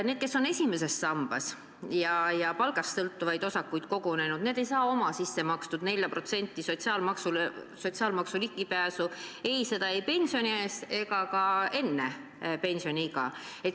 Need, kes on ainult esimese sambaga seotud ja palgast sõltuvaid osakuid kogunud, need ei saa oma sissemakstud 4% sotsiaalmaksule ligipääsu ei pensionieas ega enne pensioniiga.